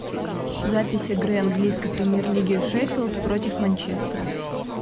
запись игры английской премьер лиги шеффилд против манчестера